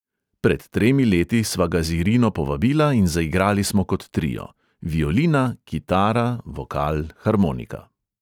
Pred tremi leti sva ga z irino povabila in zaigrali smo kot trio: violina, kitara, vokal, harmonika.